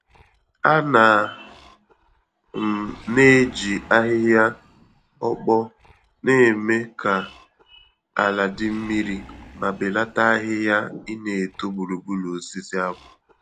Ana m na-eji ahịhịa ọkpọ némè' ka ala dị mmiri, ma belata ahịhịa ineto gburugburu osisi akpu.